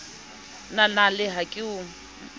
la nale a ke o